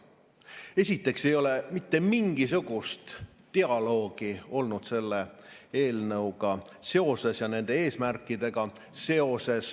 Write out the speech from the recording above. Esiteks ei ole mitte mingisugust dialoogi olnud selle eelnõu ja nende eesmärkide üle.